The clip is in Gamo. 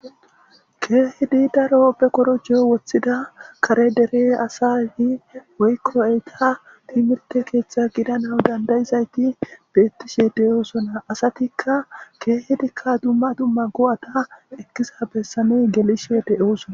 Keehippe daro korojo de'iza kare dere asatti woyko Etta timirte keththa gidanaw dandda'iza betishshe de'osonna.asarikka keehi dumma dumma go'ata ekiza be'anaw gelishw de'ossona.